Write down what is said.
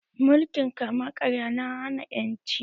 Mulkin kama karya na hana ƴanci